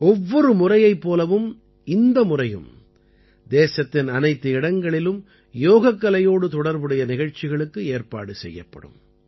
ஒவ்வொரு முறையைப் போலவும் இந்த முறையும் தேசத்தின் அனைத்து இடங்களிலும் யோகக்கலையோடு தொடர்புடைய நிகழ்ச்சிகளுக்கு ஏற்பாடு செய்யப்படும்